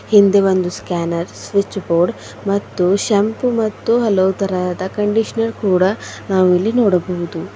ಹಿಂದೆ ಒಂದು scanner switch board ಮತ್ತು ಶಾಂಪು ಮತ್ತು ಹಲವು ತರಹದ ಕಂಡೀಷನರ್ ಕೂಡ ನಾವು ಇಲ್ಲಿ ನೋಡಬಹುದು.